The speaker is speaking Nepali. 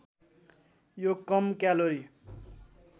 यो कम क्यालोरी